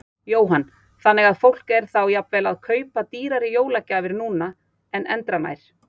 Jóhann: Þannig að fólk er þá jafnvel að kaupa dýrari jólagjafir núna en endranær?